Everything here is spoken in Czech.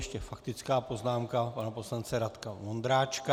Ještě faktická poznámka pana poslance Radka Vondráčka.